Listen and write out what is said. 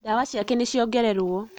Ndawa ciake nĩciongererwo